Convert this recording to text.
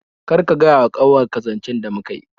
Kar ka gaya wa kanwar ka zancen da muka yi